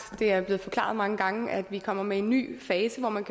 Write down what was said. er det blevet forklaret mange gange at vi kommer med en ny fase hvor man